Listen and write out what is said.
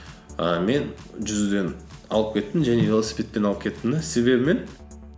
ііі мен жүзуден алып кеттім және велосипедтен алып кеттім де себебі мен